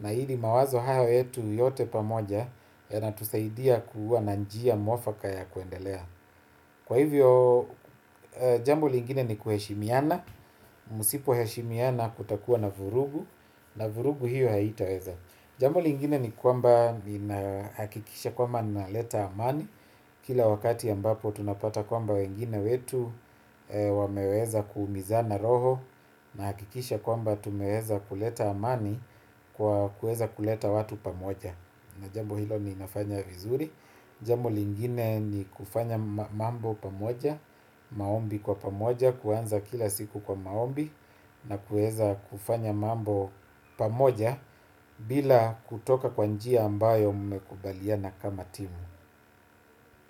na ili mawazo hayo yetu yote pamoja yanatusaidia kuwa na njia mwafaka ya kuendelea. Kwa hivyo jambo lingine ni kuheshimiana, msipoheshimiana kutakuwa na vurugu. Na vurugu hiyo haitaweza. Jambo lingine ni kwamba ninahakikisha kwamba naleta amani. Kila wakati ambapo tunapata kwamba wengine wetu wameweza kuumizana roho. Nahakikisha kwamba tumeweza kuleta amani kwa kuweza kuleta watu pamoja. Na jambo hilo ninafanya vizuri. Jambo lingine ni kufanya mambo pamoja, maombi kwa pamoja, kuanza kila siku kwa maombi na kuweza kufanya mambo pamoja bila kutoka kwa njia ambayo mmekubaliana kama timu.